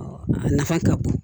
A nafa ka bon